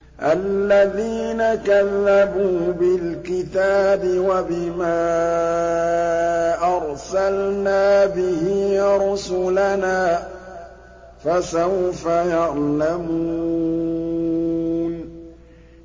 الَّذِينَ كَذَّبُوا بِالْكِتَابِ وَبِمَا أَرْسَلْنَا بِهِ رُسُلَنَا ۖ فَسَوْفَ يَعْلَمُونَ